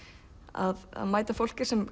að mæta fólki sem